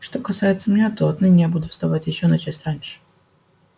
что касается меня то отныне я буду вставать ещё на час раньше